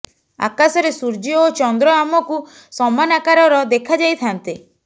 ଆକାଶରେ ସୂର୍ଯ୍ୟ ଓ ଚନ୍ଦ୍ର ଆମକୁ ସମାନ ଆକାରର ଦେଖାଯାଇଥାନ୍ତି